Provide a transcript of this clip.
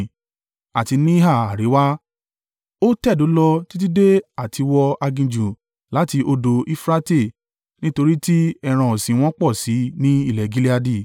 Àti níhà àríwá, o tẹ̀dó lọ títí dé àtiwọ aginjù láti odò Eufurate; nítorí tí ẹran ọ̀sìn wọn pọ̀ sí i ní ilẹ̀ Gileadi.